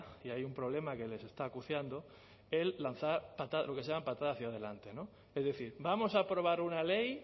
y hay un problema que les está acuciando el lanzar lo que se llama patada hacia adelante no es decir vamos a aprobar una ley